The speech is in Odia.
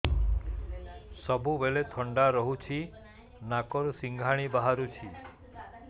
ସବୁବେଳେ ଥଣ୍ଡା ରହୁଛି ନାକରୁ ସିଙ୍ଗାଣି ବାହାରୁଚି